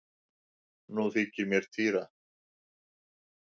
Nú þykir mér týra!